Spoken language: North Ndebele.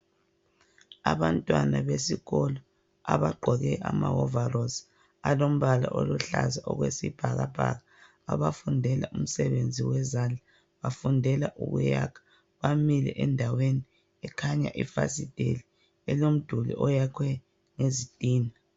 Abantwana besikolo abagqoke amawovarosi alombala oluhlaza okwesibhakabhaka abafundela umsebenzi wezandla bafundeka ukuyakha bamile endaweni ekhanya ifasiteli elomduli oyakhwe ngezitina.